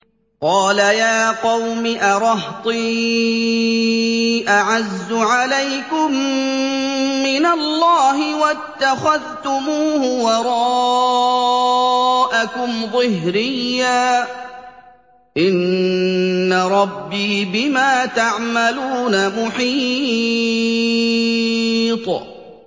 قَالَ يَا قَوْمِ أَرَهْطِي أَعَزُّ عَلَيْكُم مِّنَ اللَّهِ وَاتَّخَذْتُمُوهُ وَرَاءَكُمْ ظِهْرِيًّا ۖ إِنَّ رَبِّي بِمَا تَعْمَلُونَ مُحِيطٌ